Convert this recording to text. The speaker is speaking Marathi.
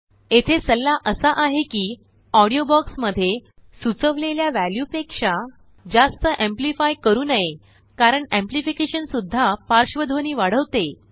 येथे सल्ला असा आहे किऑडीओ बॉक्समध्येसुचवलेल्या वॅल्यू पेक्षा जास्त एम्प्लीफाय करू नये कारणएम्प्लीफिकेशन सुद्धा पार्श्वध्वनी वाढवते